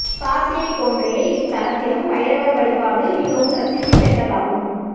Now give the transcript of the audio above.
காசியைப் போன்றே இத்தலத்திலும் பைரவர் வழிபாடு மிகவும் பிரசித்தி பெற்றதாகும்